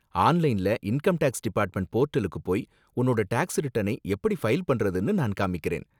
ஆன்லைன்ல income tax department போர்டலுக்கு போய் உன்னோட டேக்ஸ் ரிட்டர்னை எப்படி ஃபைல் பண்றதுனு நான் காமிக்கறேன்.